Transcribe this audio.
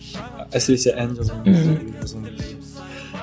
әсіресе ән жазған кезде